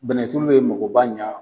Bɛnɛn tulu be mɔgɔba ɲa